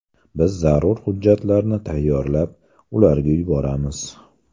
Biz zarur hujjatlarni tayyorlab, ularga yuboramiz.